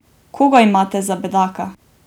Koga imate za bedaka?